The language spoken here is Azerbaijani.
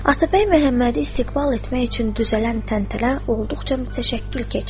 Atabəy Məhəmmədi istiqbal etmək üçün düzələn təntənə olduqca mütəşəkkil keçdi.